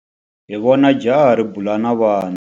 Hi vone jaha ri bula na vana.